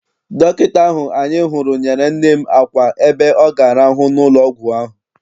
Dọkịta ahụ anyị hụrụ nyere nne m àkwà ebe ọ ga-arahu n'ụlọ ọgwụ ahụ.